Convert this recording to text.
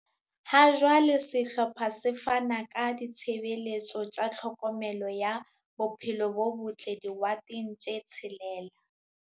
Hajwale sehlopha se fana ka ditshebeletso tsa tlhokomelo ya bophelo bo botle diwoteng tse tshelela.